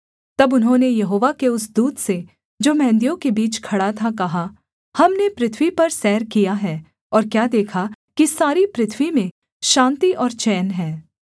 तब उन्होंने यहोवा के उस दूत से जो मेंहदियों के बीच खड़ा था कहा हमने पृथ्वी पर सैर किया है और क्या देखा कि सारी पृथ्वी में शान्ति और चैन है